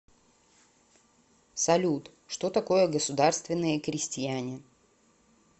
салют что такое государственные крестьяне